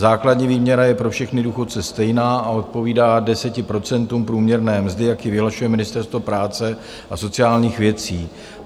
Základní výměra je pro všechny důchodce stejná a odpovídá 10 % průměrné mzdy, jak ji vyhlašuje Ministerstvo práce a sociálních věcí.